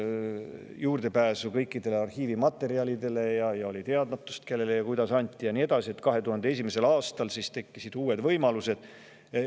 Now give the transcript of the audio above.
Sellepärast, et kõikidele arhiivimaterjalidele ei olnud juurdepääsu ja oli teadmatus selle kohta, kellele ja kuidas neid anti, ja nii edasi, ja et 2001. aastal tekkisid uued võimalused.